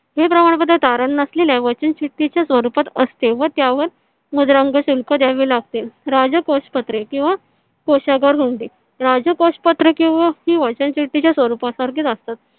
हे प्रमाणपत्र तारण नसलेल्या वचन चिठ्ठीच्या स्वरूपात असते व त्यावर मुद्रांक शुल्क द्यावे लागतील. राजकोष पत्रे किंवा कोषागार होईल राजकोष पत्र किंवा ही वचन चिठ्ठीच्या स्वरूपा सारखीच असतात. .